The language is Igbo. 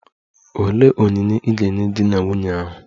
Olee onyinye ị ga-enye di na nwunye ahụ?